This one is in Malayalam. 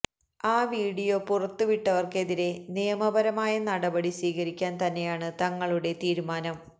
ആ വീഡിയോ പുറത്തുവിട്ടവര്ക്കെതിരെ നിയമപരമായ നടപടി സ്വീകരിക്കാന് തന്നെയാണ് തങ്ങളുടെ തീരുമാനം